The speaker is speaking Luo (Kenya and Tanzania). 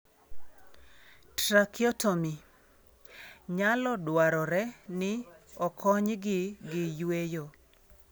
Tracheotomy: Nyalo dwarore ni okonygi gi yweyo.